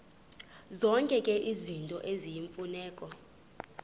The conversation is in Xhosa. zonke izinto eziyimfuneko